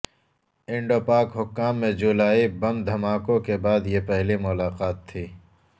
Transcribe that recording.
Indo Pak حکام میں جولائی بم دھماکوں کے بعد یہ پہلی ملاقات تھی